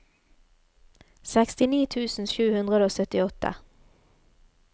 sekstini tusen sju hundre og syttiåtte